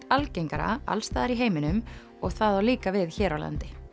algengara alls staðar í heiminum og það á líka við hér á landi